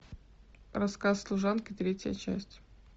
рассказ служанки третья часть